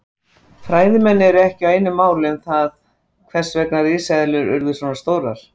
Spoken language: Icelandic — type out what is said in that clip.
Fræðimenn eru ekki á einu máli um það hvers vegna risaeðlurnar urðu svona stórar.